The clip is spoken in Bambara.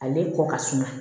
Ale kɔ ka suma